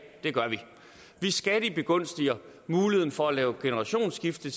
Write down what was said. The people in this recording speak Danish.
det gør vi vi skattebegunstiger muligheden for at lave generationsskifte